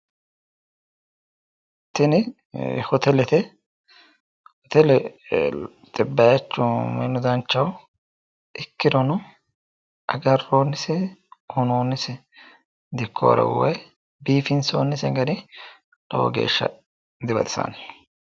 Tini hotelete hotelete bayiichu minu danchaho ikkirono agarroonnise uyinoonnise dikkuwaro woy biifinsoonnise gari lowo geeshsha dibaxisanno